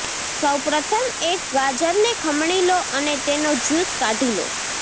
સૌ પ્રથમ એક ગાજરને ખમણી લો અને તેનો જ્યૂસ કાઢી લો